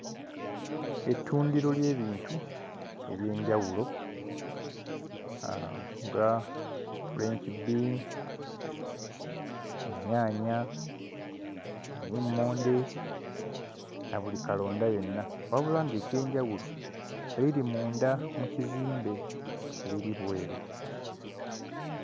Ettundiro ly'ebintu eby'enjawulo aah nga french bean, ennyaanya, obummonde na buli kalonda yenna. Wabula ng'ekyenjawulo biri munda mu kizimbe, tebiri bweru.